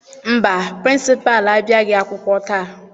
Mba, Pịrịnsịpalụ abịaghị akwụkwọ taa.